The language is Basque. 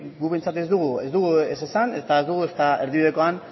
guk behintzat ez dugu ez esan ezta ez dugu erdibidekoan